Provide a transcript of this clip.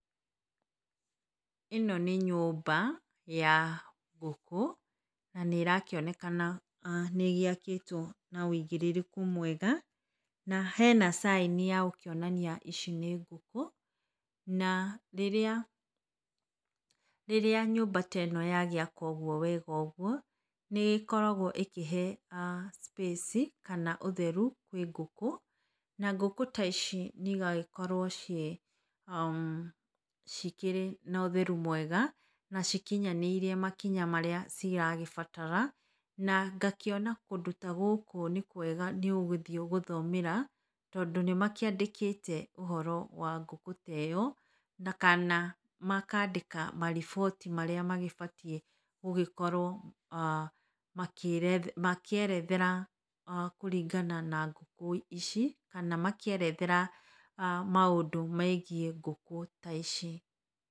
Ĩno nĩ nyũmba ya ngũkũ na nĩ ĩrakĩoneka nĩgĩakĩtwo na ũigĩrĩrĩku mwega na hena caĩni ya gũkĩonania ici nĩ ngũkü na rĩrĩa rĩrĩa nyũmba ta ĩno ya gĩakwo wega ũguo, nĩ ĩgĩkoragwo ĩgĩkĩhe space kana ũtheru kwĩ ngũkũ, na ngũkũ ta ici igagĩkorwo cikĩrĩ na ũtheru mwega na cikinyanĩirie makinya marĩa ciragĩbatara, na ngakĩona kũndũ ta gũkũ nĩ kwega nĩũgũthiĩ gũthomera, tondũ nĩ makĩandĩkĩte ũhoro wa ngũkũ ta ĩo, na kana makandĩka mariboti marĩa magĩbatiĩ gũgĩkorwo makĩerethera kũringana na ngũkũ ici, kana makĩerethera maũndũ megiĩ ngũkũ ta ici.